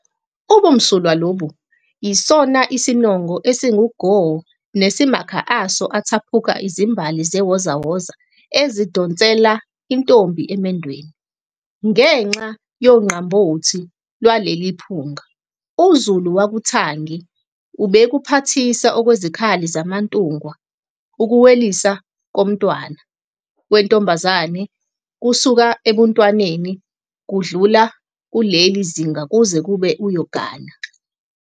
Ubumsulwa lobu yisona sinongo esingugo nesimakha aso athaphuka izimbali zewozawoza esidonsela intombi emendweni. Ngenxa yongqambothi Iwaleli phunga, uZulu wakuthangi ubekuphathisa okwezikhali zamaNtungwa ukuweliswa komntwana wentombazane kusuka ebuntwaneni, kudlula kuleli zinga kuze kube uyogana.